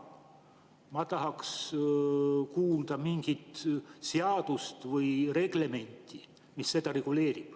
Ma tahaks kuulda mingit seadust või reglementi, mis seda reguleerib.